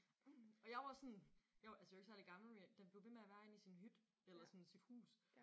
Og jeg var sådan jeg var altså jeg var ikke særlig gammel men jeg den blev ved med at være inde i sin hytte eller sådan sit hus